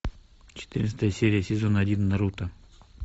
четырнадцатая серия сезона один наруто